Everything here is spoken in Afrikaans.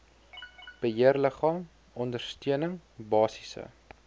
beheerliggaam ondersteuning basiese